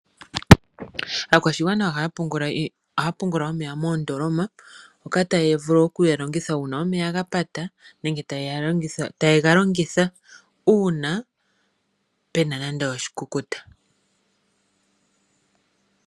Aakwashigwana Ohaya pungula omeya moondoloma ngoka taya vulu okuya yegalongithe ngele omeya gapata nenge taye ga longitha uuna pena nande oshikukuta